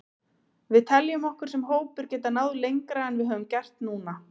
Við teljum okkur sem hópur geta náð lengra en við höfum gert núna.